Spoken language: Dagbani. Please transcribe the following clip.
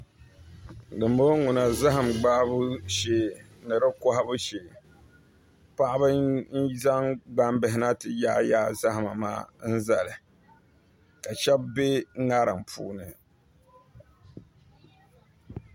Dinbɔŋɔ ŋuna zaham gbahabu shes ni di kohabu shee paɣaba n zaŋ gbambihi na ti yaai yaai zahama maa n zali ka shab bɛ ŋarim puuni